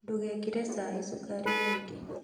Ndũgekĩre cai cukari mũingĩ